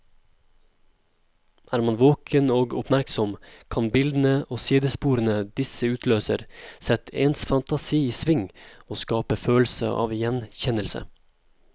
Er man våken og oppmerksom, kan bildene og sidesporene disse utløser, sette ens fantasi i sving og skape følelse av gjenkjennelse.